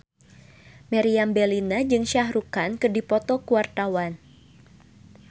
Meriam Bellina jeung Shah Rukh Khan keur dipoto ku wartawan